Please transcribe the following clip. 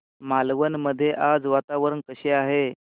मालवण मध्ये आज वातावरण कसे आहे